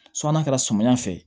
n'a kɛra samiya fɛ